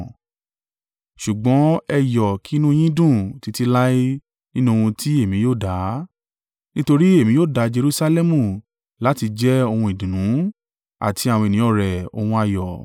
Ṣùgbọ́n ẹ yọ̀ kí inú yín dùn títí láé nínú ohun tí èmi yóò dá, nítorí èmi yóò dá Jerusalẹmu láti jẹ́ ohun ìdùnnú àti àwọn ènìyàn rẹ̀, ohun ayọ̀.